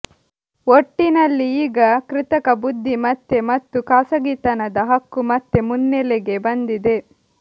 ಒಟ್ಟಿನಲ್ಲಿ ಈಗ ಕೃತಕ ಬುದ್ಧಿಮತ್ತೆ ಮತ್ತು ಖಾಸಗಿತನದ ಹಕ್ಕು ಮತ್ತೆ ಮುನ್ನೆಲೆಗೆ ಬಂದಿದೆ